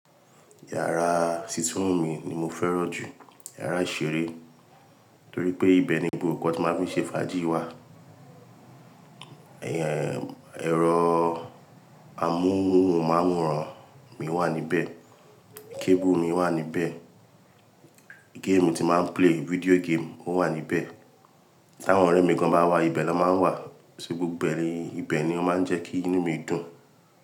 Yàrá sitting room mi ni mo feerean jù yàrá ìṣeré toripe ibẹ̀ ni gbogbo ńkan tí mo máa ń fi n ṣe fàájì wà. Ẹ̀rọ amóhùnmáwòrán mi wà níbẹ̀, cable mi wà níbẹ̀, game tí màá ń play, video game, ó wà níbẹ̀. Tí àwọn ọ̀rẹ́ mi gan bá wá, ibẹ̀ lọ máa ń wà, ṣo gbogbo ìgbà ibẹ̀ ni ó máa ń jẹ́ kí inú mi dùn.